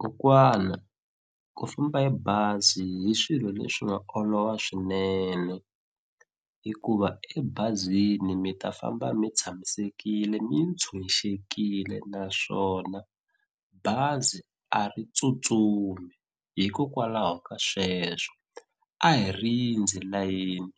Kokwana ku famba hi bazi hi swilo leswi nga olova swinene hikuva ebazini mi ta famba mi tshamisekile ni tshunxekile naswona bazi a ri tsutsumi hikokwalaho ka sweswo a hi rindzi layeni